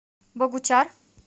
богучар